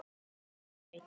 Nú ertu horfin á braut.